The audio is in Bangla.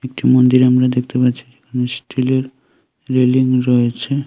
একটি মন্দির আমরা দেখতে পাচ্ছি স্টিলের রেলিং রয়েছে।